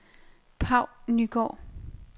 Paw Nygaard